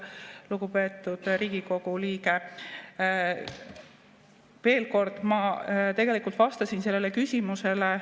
Lugupeetud Riigikogu liige, ma tegelikult vastasin sellele küsimusele.